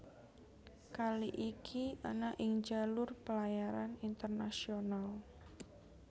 Kali iki ana ing jalur pelayaran internasional